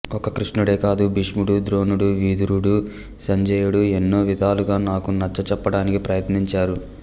ఒక్క కృష్ణుడే కాదు భీష్ముడు ద్రోణుడు విదురుడు సంజయుడు ఎన్నో విధాలుగా నాకు నచ్చ చెప్పడానికి ప్రయత్నించారు